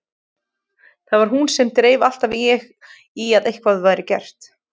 Það var hún sem dreif alltaf í að eitthvað væri gert.